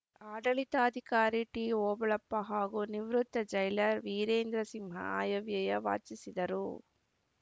ಆಡಳಿತಾಧಿಕಾರಿ ಟಿಓಬಳಪ್ಪ ಹಾಗೂ ನಿವೃತ್ತ ಜೈಲರ್‌ ವೀರೇಂದ್ರಸಿಂಹ ಆಯ ವ್ಯಯ ವಾಚಿಸಿದರು